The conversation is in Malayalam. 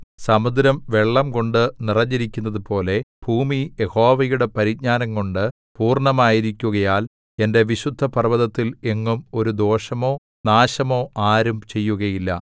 സമുദ്രം വെള്ളംകൊണ്ട് നിറഞ്ഞിരിക്കുന്നതുപോലെ ഭൂമി യഹോവയുടെ പരിജ്ഞാനംകൊണ്ടു പൂർണ്ണമായിരിക്കുകയാൽ എന്റെ വിശുദ്ധപർവ്വതത്തിൽ എങ്ങും ഒരു ദോഷമോ നാശമോ ആരും ചെയ്യുകയില്ല